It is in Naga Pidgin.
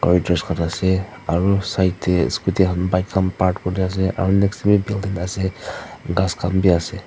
aru khan ase aru kinar deh scooty khan bike khan park kurina ase aro next teh wii building ase ghas khan bi ase.